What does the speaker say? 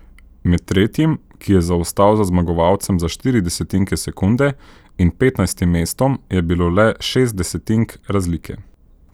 Med tretjim, ki je zaostal za zmagovalcem za štiri desetinke sekunde, in petnajstim mestom je bilo le šest desetink razlike.